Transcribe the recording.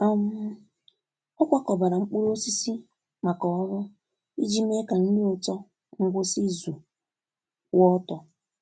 um Ọ kwakọbara mkpụrụ osisi maka ọrụ iji mee ka nri ụtọ ngwụsị izu kwụọ ọtọ.